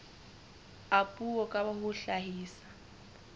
a puo ka ho hlahisa